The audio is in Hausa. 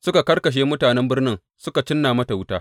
Suka karkashe mutanen birnin suka cinna mata wuta.